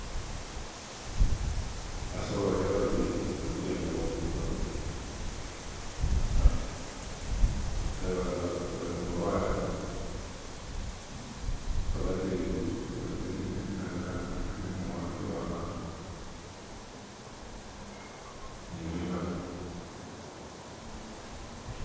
basawo baliya babili bali kujanjaba bali kumulwale bagwatile ziwanga nibimali